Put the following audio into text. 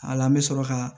A la n bɛ sɔrɔ ka